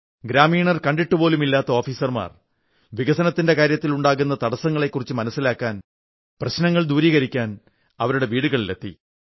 ഗ്രാമീണർ കണ്ടിട്ടുപോലുമില്ലാത്ത ഓഫീസർമാർ വികസനകാര്യത്തിൽ ഉണ്ടാകുന്ന തടസ്സങ്ങളെക്കുരിച്ച് മനസ്സിലാക്കാൻ പ്രശ്നങ്ങൾ ദൂരീകരിക്കാൻ അവരുടെ വീടുകളിലെത്തി